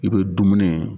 I bɛ dumuni ye